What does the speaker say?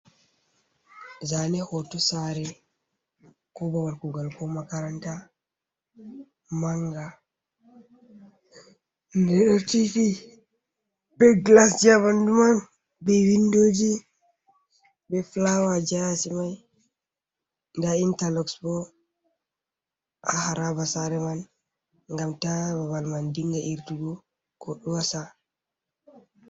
Zaane footo saare koo babala kuugal koo makaranta mannga, nde ɗo tiiti bee glasji haa ɓanndu man bee windooji bee fulaawaaji ha yaasi man intar ndaa interluck boo haa saare man ngam taa babal man dinga irtugo kod wasa.